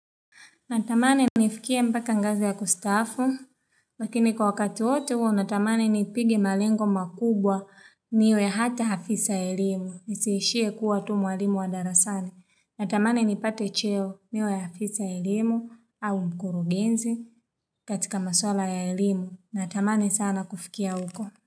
Natamani nifikie mpaka ngazi ya kustaafu, lakini kwa wakati wote huo natamani nipigi malengo makubwa niwe hata afisa ya elimu, nisiishie kuwa tu mwalimu wa darasani. Natamani nipate cheo niwe afisa wa elimu au mkurugenzi katika maswala ya elimu. Natamani sana kufikia uko.